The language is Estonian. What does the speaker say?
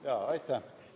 Aitäh!